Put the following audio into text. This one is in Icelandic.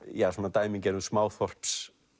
dæmigerðum